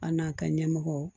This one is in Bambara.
An n'a ka ɲɛmɔgɔw